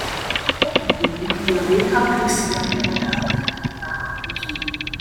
O kpuchiri ihu ya, wee hapu isi ya ka o daa n'ala aha uhie.